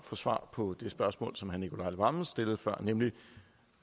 få svar på det spørgsmål som herre nicolai wammen stillede før nemlig